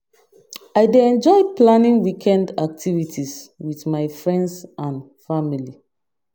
I dey enjoy planning weekend activities with my friends and family.